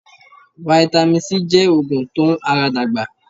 Vitamin C jẹ́ oògùn tó n ara dàgbà